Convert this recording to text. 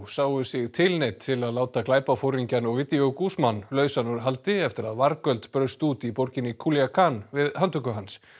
sáu sig tilneydd til að láta glæpaforingjann Ovidio Guzmán lausan úr haldi eftir að vargöld braust út í borginni Culiacán við handtöku hans